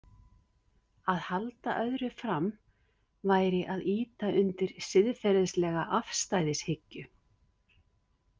Að halda öðru fram væri að ýta undir siðferðislega afstæðishyggju.